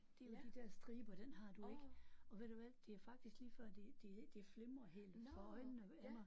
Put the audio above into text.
Det med de der striber den har du ikke og ved du hvad det er faktisk lige før det det det flimrer helt for øjnene af mig